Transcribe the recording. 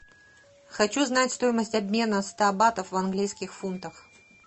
хочу знать стоимость обмена ста батов в английских фунтах